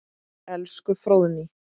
Elsku Fróðný.